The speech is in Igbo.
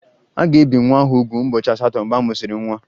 A ga-ebi nwa ahụ úgwù ụbọchị asatọ mgbe a mụsịrị nwa